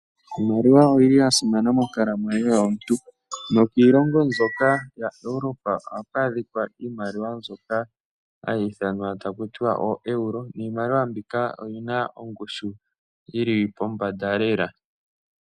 Iimaliwa oyi li ya simana monkalamwenyo yomuntu nokiilongo mbyoka yaEuropa ohaku adhika iimaliwa mbyoka hayi ithanwa taku tiwa ooeuro niimaliwa mbika oyi na ongushu yi li pombanda lela.